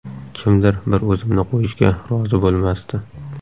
Kimdir bir o‘zimni qo‘yishga rozi bo‘lmasdi.